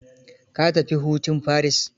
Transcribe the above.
Ka tafi hutun Paris.